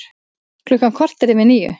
Klukkan korter yfir níu